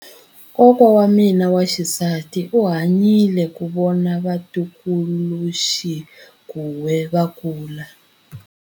Kokwa wa mina wa xisati u hanyile ku vona vatukuluxinghuwe va kula.